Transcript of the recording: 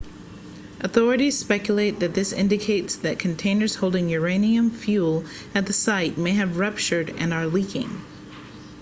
authorities speculate that this indicates that containers holding uranium fuel at the site may have ruptured and are leaking